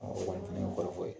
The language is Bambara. Ɔ o kɔni tun ye kɔrɔfɔ ye .